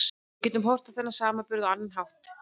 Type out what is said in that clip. Við getum horft á þennan samburð á annan hátt.